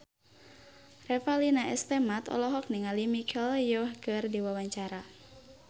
Revalina S. Temat olohok ningali Michelle Yeoh keur diwawancara